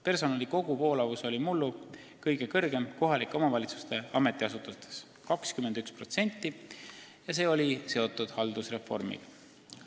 Personali koguvoolavus oli mullu kõige suurem kohaliku omavalitsuse ametiasutustes – 21% –, see oli seotud haldusreformiga.